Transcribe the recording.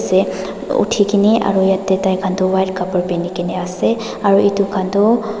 se uthikae ni aro taikhan toh white khapra pine kene ase aro edu khan tu.